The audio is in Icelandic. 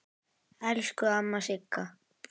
Elsku amma Sigga.